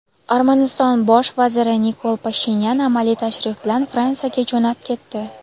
Armaniston Bosh vaziri Nikol Pashinyan amaliy tashrif bilan Fransiyaga jo‘nab ketdi.